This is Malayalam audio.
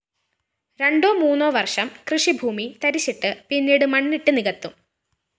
രണേ്ടാ മൂന്നോ വര്‍ഷം കൃഷിഭൂമി തരിശിട്ട് പിന്നീട് മണ്ണിട്ടു നികത്തും